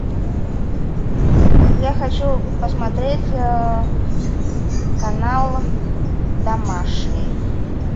я хочу посмотреть канал домашний